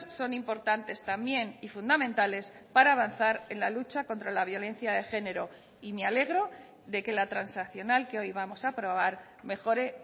son importantes también y fundamentales para avanzar en la lucha contra la violencia de género y me alegro de que la transaccional que hoy vamos a aprobar mejore